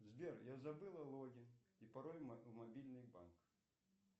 сбер я забыла логин и пароль мобильный банк